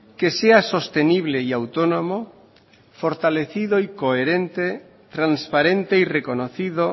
que sea sostenible y autónomo fortalecido y coherente transparente y reconocido